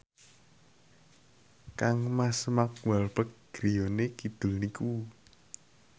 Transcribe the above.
kangmas Mark Walberg griyane kidul niku